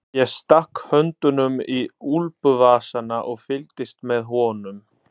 Ég stakk höndunum í úlpuvasana og fylgdist með honum.